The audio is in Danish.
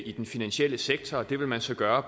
i den finansielle sektor det vil man så gøre